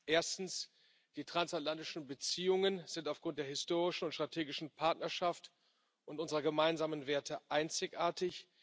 Erstens Die transatlantischen Beziehungen sind aufgrund der historischen und strategischen Partnerschaft und unserer gemeinsamen Werte einzigartig.